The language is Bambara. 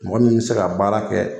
Mɔgɔ min be se ka baara kɛ